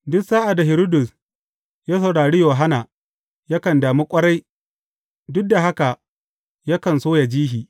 Duk sa’ad da Hiridus ya saurari Yohanna, yakan damu ƙwarai, duk da haka, yakan so yă ji shi.